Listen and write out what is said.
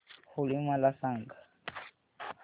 होळी मला सांगा